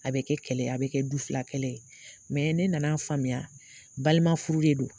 A bɛ kɛ kɛlɛ ye, a bɛ kɛ du fila kɛlɛ ye. ne nan'a faamuya, balima furu de don.